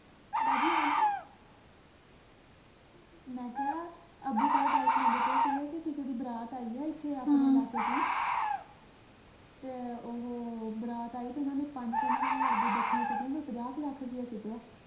ਮੈਂ ਕਿਹਾ ਅੱਬੂ ਕੱਲ ਗੱਲ ਸੁਣਾਉਂਦੇ ਪਏ ਸੀ ਕੇ ਜਿਹੜੀ ਬਰਾਤ ਆਈ ਹੈ ਇਥੇ ਆਪਣੇ ਇਲਾਕੇ ਚ ਹੀ ਤੇ ਓਹੋ ਬਰਾਤ ਆਈ ਤੇ ਓਹਨਾ ਨੇ ਪੰਜ ਪੰਜ ਹਜਾਰ ਦੀਆਂ ਗੱਟਿਆਂ ਸਿਟੀਆਂ ਤੇ ਓਹਨਾ ਨੇ ਪੰਜਾਹ ਕੇ ਲੱਖ ਰੁਪਿਆ ਸਿੱਟਿਆ